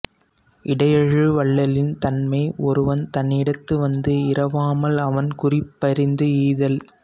இடையேழு வள்ளலின் தன்மை ஒருவன் தன்னிடத்து வந்து இரவாமல் அவன் குறிப்பறிந்து ஈதல்